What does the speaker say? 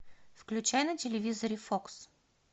включай на телевизоре фокс